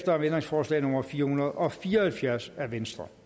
om ændringsforslag nummer fire hundrede og fire og halvfjerds af v